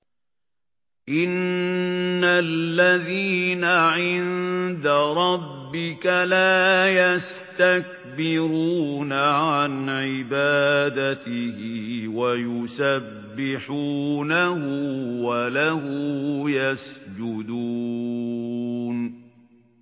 إِنَّ الَّذِينَ عِندَ رَبِّكَ لَا يَسْتَكْبِرُونَ عَنْ عِبَادَتِهِ وَيُسَبِّحُونَهُ وَلَهُ يَسْجُدُونَ ۩